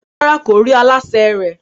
Rárá, kò rí aláṣẹ rẹ̀